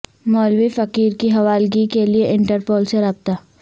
مولوی فقیر کی حوالگی کے لیے انٹرپول سے رابطہ